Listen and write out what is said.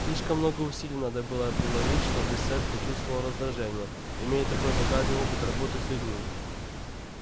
слишком много усилий надо было приложить чтобы сатт почувствовал раздражение имея такой богатый опыт работы с людьми